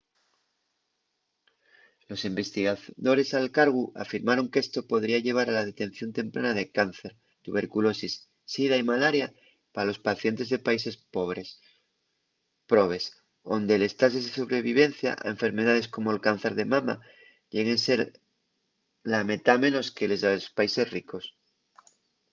los investigadores al cargu afirmaron qu’esto podría llevar a la detención temprana de cáncer tuberculosis sida y malaria pa los pacientes de países probes onde les tases de sobrevivencia a enfermedaes como’l cáncer de mama lleguen a ser la metá menos que les de los países ricos